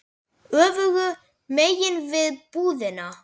Öfugu megin við búðina.